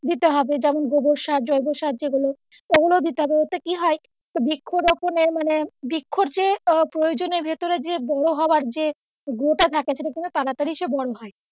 দিতে হবে যেমন গোবর সার জৈব সার যেগুলো ওগুলো দিতে হয় ওতে কী হবে বৃক্ষ রোপণের মানে বৃক্ষ যে আহ প্রয়জনের ভেতোরে যে বড় হওয়ার যে grow টা থাকে সেটা সেটা কি হয় তাড়াতাড়ি এসে হয়,